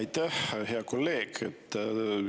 Aitäh, hea kolleeg!